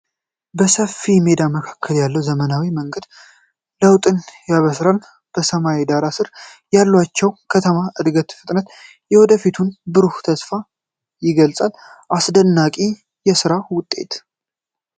በሰፊው ሜዳ መካከል ያለው ዘመናዊ መንገድ ለውጥን ያበስራል። በሰማይ ዳራ ስር ያለችው ከተማ የእድገትን ፍጥነትና የወደፊቱን ብሩህ ተስፋ ይገልጣል። አስደናቂ የስራ ውጤት!